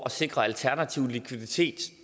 at sikre alternativ likviditet